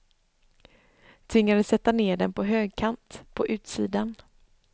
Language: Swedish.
Tvingades sätta ned den på högkant, på utsidan.